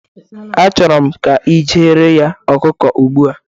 Achọrọ m ka i jeere ya ọkụkọ ugbu a